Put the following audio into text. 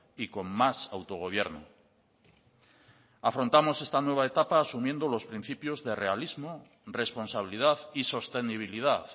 y con más autogobierno afrontamos esta nueva etapa asumiendo los principios de realismo responsabilidad y sostenibilidad